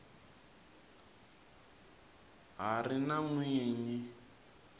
ha ri na n wini